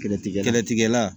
Kɛlɛtigɛla